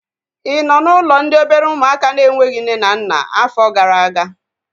Ị nọ n'ụlọ ndị obere ụmụaka na-enweghị nne na nna afọ gara aga?